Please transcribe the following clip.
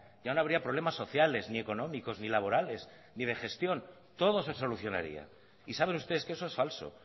ya no habría problemas sociales ni económicos ni laborales ni de gestión todo se solucionaría y saben ustedes que eso es falso